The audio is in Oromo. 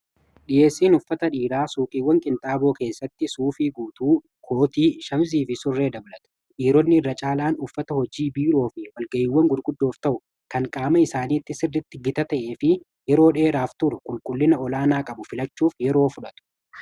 Dhiyeessiin uffata dhiiraa suuqiiwwan qinxaaboo keessatti suufii guutuu kootii ,shamizii fi surree dabaltaa dhiironni irra caalaan uffata hojii biiroo fi walga'iwwan gurquddoof ta'u kan qaama isaaniitti sirritti gita ta'ee fi yeroo dheeraaf turu qulqullina olaanaa qabu filachuuf yeroo fudhatu.